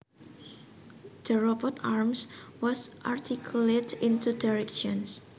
The robot arm was articulate in two directions